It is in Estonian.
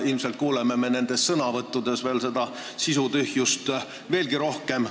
Ilmselt kuuleme sõnavõttudes seda sisutühjust veelgi rohkem.